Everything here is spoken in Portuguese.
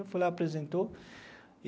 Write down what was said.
Eu fui lá, apresentou.